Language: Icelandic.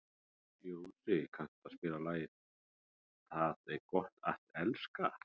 Jónsi, kanntu að spila lagið „Tað er gott at elska“?